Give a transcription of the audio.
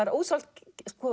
er ósjálfrátt